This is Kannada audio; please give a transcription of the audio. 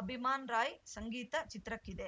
ಅಭಿಮಾನ್‌ ರಾಯ್‌ ಸಂಗೀತ ಚಿತ್ರಕ್ಕಿದೆ